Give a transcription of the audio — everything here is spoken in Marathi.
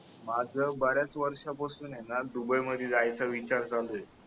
माझ ब-याच वर्षापासून य ना दुबई मध्ये जायचा विचार चालूय